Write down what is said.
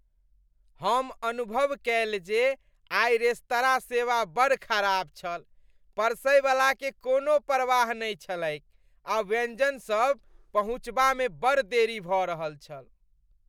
हम अनुभव कएल जे आइ रेस्तराँ सेवा बड़ खराब छल। परसैवलाकेँ कोनो परवाह नहि छलैक आ व्यंजन सब पहुँचाबामे बड़ देरी भ रहल छल।